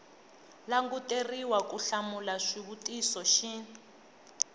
languteriwa ku hlamula xivutiso xin